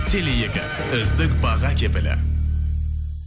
теле екі үздік баға кепілі